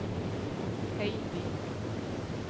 Høiby